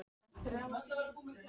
Sú saga hefur verið skráð víða.